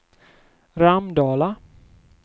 Ramdala